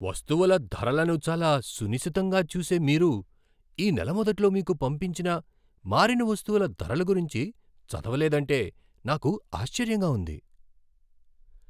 వస్తువుల ధరలను చాలా సునిశితంగా చూసే మీరు ఈ నెల మొదట్లో మీకు పంపించిన మారిన వస్తువుల ధరల గురించి చదవలేదంటే నాకు ఆశ్చర్యంగా ఉంది.